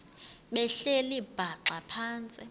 behleli bhaxa phantsi